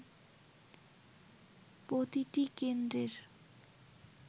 প্রতিটি কেন্দ্রের